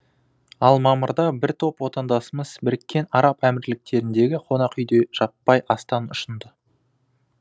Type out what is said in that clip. ал мамырда бір топ отандасымыз біріккен араб әмірліктеріндегі қонақүйде жаппай астан ұшынды